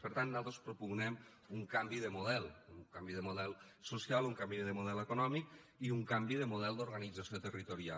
per tant nosaltres propugnem un canvi de model un canvi de model social un canvi de model econòmic i un canvi de model d’organització territorial